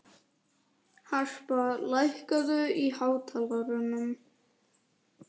Harpa, lækkaðu í hátalaranum.